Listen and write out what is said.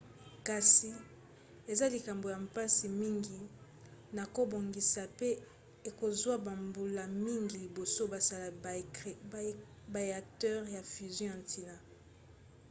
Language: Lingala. kasi eza likambo ya mpasi mingi na kobongisa pe ekozwa bambula mingi liboso basala ba éacteurs ya fusion ya ntina